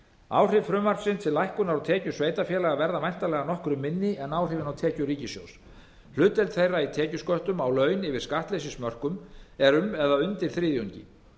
áhrif frumvarpsins til lækkunar á tekjum sveitarfélaga verða væntanlega nokkru minni en áhrifin á tekjur ríkissjóð hlutdeild þeirra í tekjusköttum á laun yfir skattleysismörkum eru um eða undir þriðjungi